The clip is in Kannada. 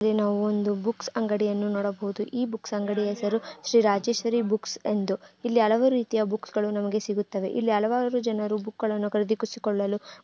ಇಲ್ಲಿ ನವೊಂದು ಬುಕ್ಸ್ ಅಂಗಡಿಯನ್ನು ನೋಡಬಹುದು ಈ ಬುಕ್ಸ್ ಅಂಗಡಿ ಹೆಸರು ಶ್ರೀ ರಾಜೇಶ್ವರಿ ಬುಕ್ಸ್ ಎಂದು ಇಲ್ಲಿ ಹಲವಾರು ರೀತಿಯ ಬುಕ್ಸ್ಗಳು ನಮಗೆ ಸಿಗುತ್ತವೆ ಇಲ್ಲಿ ಹಲವಾರು ಜನರು ಬುಕ್ಗ ಳನ್ನು ಕರಿದಿಸಿಕೊಳ್ಳಲು --